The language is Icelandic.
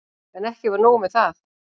En ekki var nóg með það.